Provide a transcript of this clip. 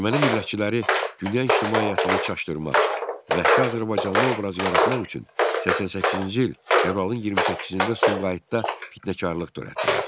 Erməni millətçiləri dünya ictimaiyyətini çaşdırmaq, vəhşi azərbaycanlı obrazı yaratmaq üçün 88-ci il fevralın 28-də Sumqayıtda fitnəkarlıq törətdilər.